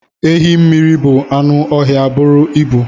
Ehi mmiri bụ anụ ọhịa buru ibu.